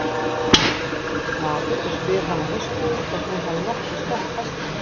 Allt í einu birtist maður og spyr hana höstugur hvort hún hafi nokkuð snert hestinn.